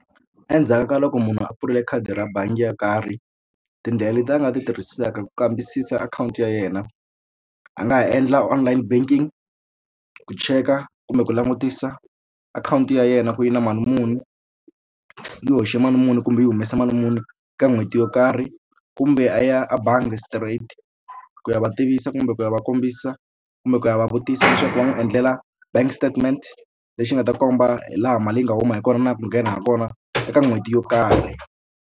Endzhaku ka loko munhu a pfule khadi ra bangi yo karhi tindlela leti a nga ti tirhisaka ku kambisisa akhawunti ya yena a nga ha endla online banking ku cheka kumbe ku langutisa akhawunti ya yena ku yi na mali muni yi hoxe mali muni kumbe yi humese mali muni ka n'hweti yo karhi kumbe a ya a bangi straight ku ya va tivisa kumbe ku ya va kombisa kumbe ku ya va vutisa leswaku va n'wi endlela bank statement lexi nga ta komba hi laha mali yi nga huma hi kona na ku nghena ha kona eka n'hweti yo karhi.